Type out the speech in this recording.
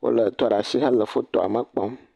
Wolé tu ɖaa shi hele fotoa me kpɔm.